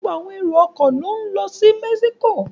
Gbogbo àwọn èrò-ọkọ̀ ni wọ́n ń lọ Mexico.